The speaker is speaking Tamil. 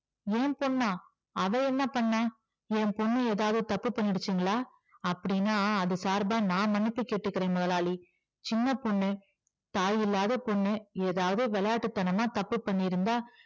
என் பொண்ணா அவள் என்ன பண்ணுனா என் பொண்ணு ஏதாவது தப்பு பண்ணிருச்சுங்களா அப்டீன்னா அது சார்பா நான் மன்னிப்பு கேட்டுக்குறேன் முதலாளி சின்ன பொண்ணு தாயில்லாத பொண்ணு ஏதாவது விளையாட்டுத் தனமா தப்பு பண்ணியிருந்தா